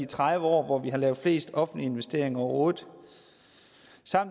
tredive år hvor vi har lavet flest offentlige investeringer overhovedet